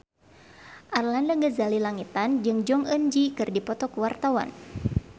Arlanda Ghazali Langitan jeung Jong Eun Ji keur dipoto ku wartawan